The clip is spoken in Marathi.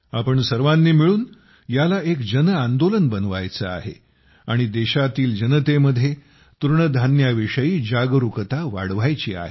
आपण सर्वांनी मिळून याला एक जनआंदोलन बनवायचे आहे आणि देशातील जनतेमध्ये तृणधान्या विषयी जागरूकता वाढवायची आहे